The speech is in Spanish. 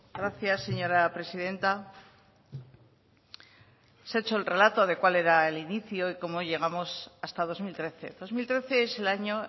gracias señora presidenta se ha hecho el relato de cuál era el inicio y cómo llegamos hasta dos mil trece dos mil trece es el año